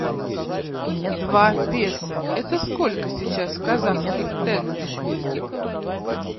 два песо это сколько сейчас в казахских тенге